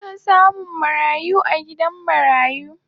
Ana samun marayu a gidan marayu